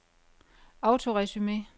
autoresume